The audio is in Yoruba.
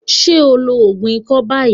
Are you taking the cough syrup now?